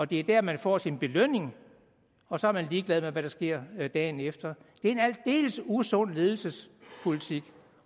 det er der man får sin belønning og så er man ligeglad med hvad der sker dagen efter det er en aldeles usund ledelsespolitik